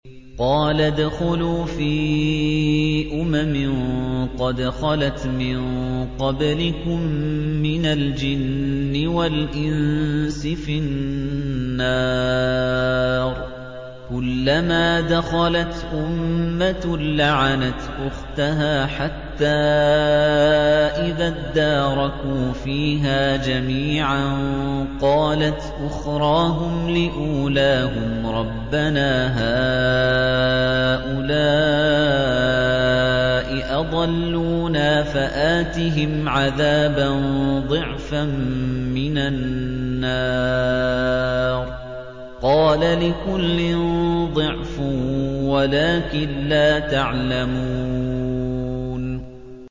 قَالَ ادْخُلُوا فِي أُمَمٍ قَدْ خَلَتْ مِن قَبْلِكُم مِّنَ الْجِنِّ وَالْإِنسِ فِي النَّارِ ۖ كُلَّمَا دَخَلَتْ أُمَّةٌ لَّعَنَتْ أُخْتَهَا ۖ حَتَّىٰ إِذَا ادَّارَكُوا فِيهَا جَمِيعًا قَالَتْ أُخْرَاهُمْ لِأُولَاهُمْ رَبَّنَا هَٰؤُلَاءِ أَضَلُّونَا فَآتِهِمْ عَذَابًا ضِعْفًا مِّنَ النَّارِ ۖ قَالَ لِكُلٍّ ضِعْفٌ وَلَٰكِن لَّا تَعْلَمُونَ